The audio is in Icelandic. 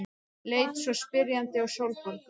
Leit svo spyrjandi á Sólborgu.